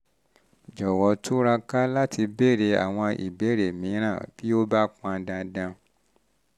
um jọ̀wọ́ túraká láti béèrè àwọn ìbéèrè um mìíràn bí ó bá pọn dandan